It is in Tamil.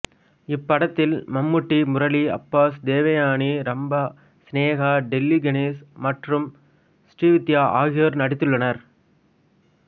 இப்படத்தில் மம்மூட்டி முரளி அப்பாஸ் தேவயானி ரம்பா சினேகா டெல்லி கணேஷ் மற்றும் ஸ்ரீவித்யா ஆகியோர் நடித்துள்ளனர்